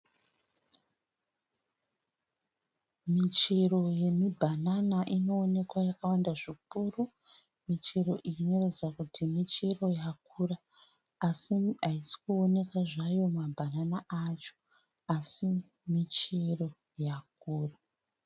Michero yemibhanana inoonekwa yakawanda zvikuru. Michero iyi inoratidza kuti michero yakura asi haisi kuonekwa zvayo mabhanana acho asi michero yakura.